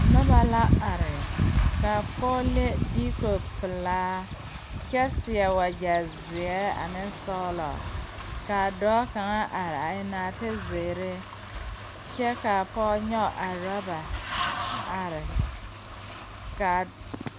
Nobɔ la are kaa pɔɔ le diiko pelaa kyɛ seɛ wagyɛ zeɛ ane sɔglɔ kaa dɔɔ kaŋa are a eŋ naate zeere kyɛbkaa pɔɔ nyoge rɔba are kaa.